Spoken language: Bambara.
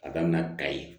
A daminɛ ka ye